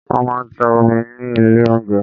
Wọ́n máa ń ta omi ní ilé oúnjẹ.